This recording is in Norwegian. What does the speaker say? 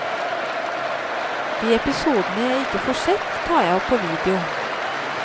De episodene jeg ikke får sett, tar jeg opp på video.